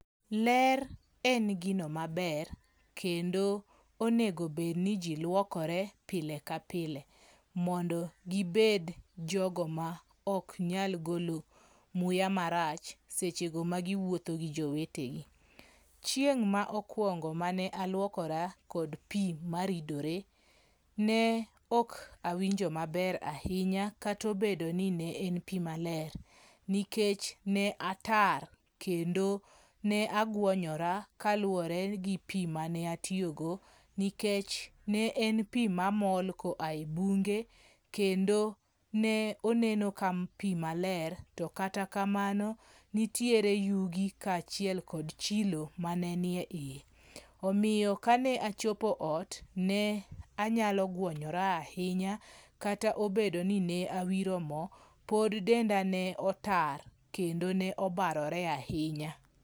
Ler en gino maber kendo onego bed ni jii luokore pile ka pile mondo gibed jogo ma ok nyal golo muya marach seche go ma giwuotho gi jowetegi. Chieng' ma okwongo mane aluokora kod pii maridore ne ok awinjo maber ahinya kata obedo ni ne en pii maler nikech ne atar kendo ne aguonyora kaluwore gi pii mane atiyo go kendo ne en pii mamol koa e bunge kendo noneno ka pii maler to kata kamano yugi kod chilo mane nie iye. Omiyo kane ochopo e ot ne anyalo gwonyora ahinya kata obedo ni ne awiro moo pod denda ne otar kendo ne obarore ahinya.